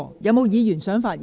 是否有議員想發言？